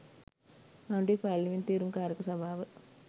ආණ්ඩුවේ පාර්ලිමේන්තු තේරීම් කාරක සභාව